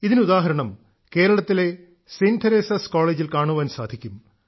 ഇതിന് ഉദാഹരണം കേരളത്തിലെ സെന്റ് തെരേസാസ് കോളേജിൽ കാണാൻ സാധിക്കും